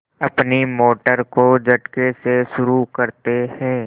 अपनी मोटर को झटके से शुरू करते हैं